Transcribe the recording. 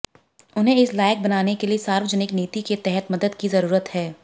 उन्हें इस लायक बनाने के लिए सार्वजनिक नीति के तहत मदद की जरूरत है